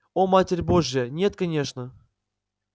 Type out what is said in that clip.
о матерь божья нет конечно